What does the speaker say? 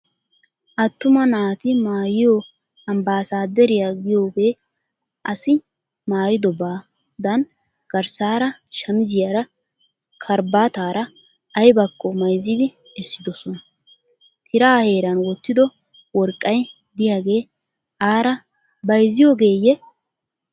Attuma naati maayiyo ambasaderiya giyoge asi maayidobadan garssaara shamiziyara karabaataara ayibakko mayizzidi essidosona. Tiraa heeran wottido worqqay diyagee aara bayizziyogeeyye?